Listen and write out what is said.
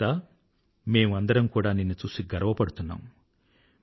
ఏక్తా మేము ఆందరమూ కూడా నిన్ను చూసి గర్వపడుతున్నాము